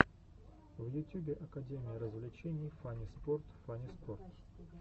в ютюбе академия развлечений фанниспорт фанниспорт